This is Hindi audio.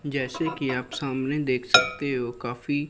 जैसे कि आप सामने देख सकते हो काफी--